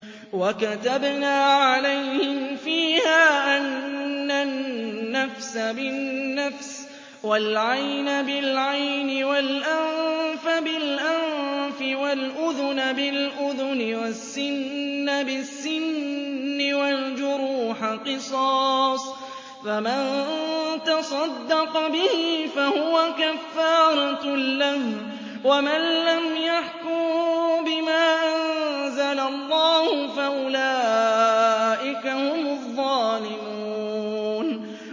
وَكَتَبْنَا عَلَيْهِمْ فِيهَا أَنَّ النَّفْسَ بِالنَّفْسِ وَالْعَيْنَ بِالْعَيْنِ وَالْأَنفَ بِالْأَنفِ وَالْأُذُنَ بِالْأُذُنِ وَالسِّنَّ بِالسِّنِّ وَالْجُرُوحَ قِصَاصٌ ۚ فَمَن تَصَدَّقَ بِهِ فَهُوَ كَفَّارَةٌ لَّهُ ۚ وَمَن لَّمْ يَحْكُم بِمَا أَنزَلَ اللَّهُ فَأُولَٰئِكَ هُمُ الظَّالِمُونَ